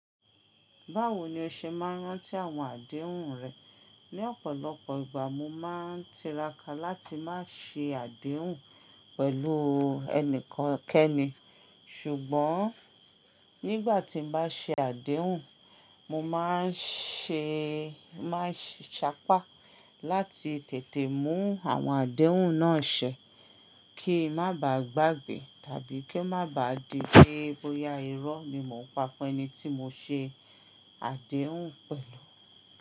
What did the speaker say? Báwo ni o ṣe máa ń rántí àwọn àdéhùn rẹ? Ni ọ̀pọ̀lọpọ̀ ìgbà, mo máa ń tiraka láti má ṣe àdéhùn pẹ̀lú ẹnikan keni. Ṣùgbọ́n nígbà tí n bá ṣe àdéhùn, mo máa ń sapá láti tètè mú àwọn àdéhùn náà ṣẹ kí má bá gbàgbé tàbí ko má bá di pé bóyá irọ́ mi mo pa fún ẹni tí mo ṣe àdéhùn pẹ̀lú.